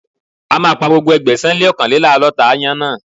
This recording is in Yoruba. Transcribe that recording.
A máa pa gbogbo ẹ̀ẹ́dẹ́gbẹ̀sán-lé-ọ́kànléláàdọ́ta aáyán náà.